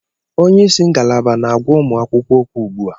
Onye isi ngalaba na-agwa ụmụ akwụkwọ okwu ugbu a.